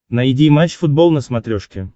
найди матч футбол на смотрешке